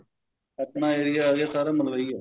ਆਪਣਾ area ਆ ਗਿਆ ਸਾਰਾ ਮਲਵਈ ਆ